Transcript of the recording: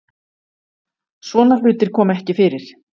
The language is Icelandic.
Svona hlutir koma ekki fyrir